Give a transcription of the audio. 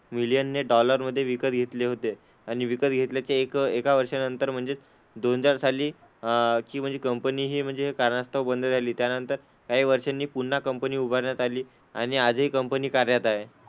मिलियनने dollar मध्ये विकत घेतले होते. आणि विकत घेतल्याच्या एक एका वर्षानंतर म्हणजेच दोन हजार साली अह की म्हणजे कंपनी हि म्हणजे काही कारणास्तव बंद झाली, त्यानंतर काही वर्षांनी पुन्हा कंपनी उभारण्यात आली आणि आजही कंपनी कार्यरत आहे.